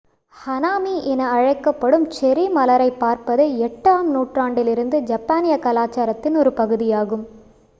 ஹனாமி என அழைக்கப்படும் செர்ரி மலரைப் பார்ப்பது 8 ஆம் நூற்றாண்டிலிருந்து ஜப்பானிய கலாச்சாரத்தின் ஒரு பகுதியாகும்